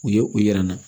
U ye u yira an na